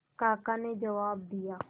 काका ने जवाब दिया